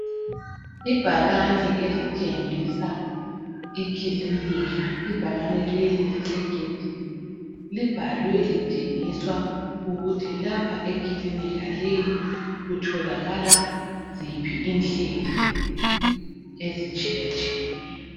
Ibhakani elitshengisa ikilinika , ibhakani leli lisegedini libhaliwe litshengiswa ukuthi lapha eklinika leyi kutholakala ziphi inhlelo ezitshiyetshiyeneyo .